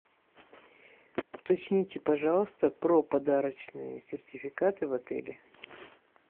уточните пожалуйста про подарочные сертификаты в отеле